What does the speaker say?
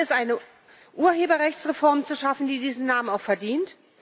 Das erste ist, eine Urheberrechtsreform zu schaffen, die diesen Namen auch verdient.